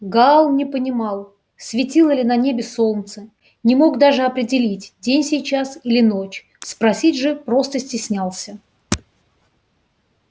гаал не понимал светило ли на небе солнце не мог даже определить день сейчас или ночь спросить же просто стеснялся